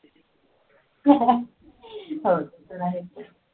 हो ते तर आहेच